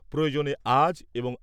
প্রয়োজনে আজ এবং